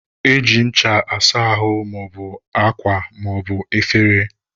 Eji ncha asa ahụ maọbụ akwa maọbụ efere.